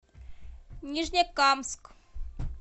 нижнекамск